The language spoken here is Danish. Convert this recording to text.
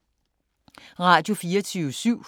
Radio24syv